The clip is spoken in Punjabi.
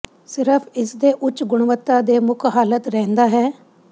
ਸਿਰਫ ਇਸ ਦੇ ਉੱਚ ਗੁਣਵੱਤਾ ਦੇ ਮੁੱਖ ਹਾਲਤ ਰਹਿੰਦਾ ਹੈ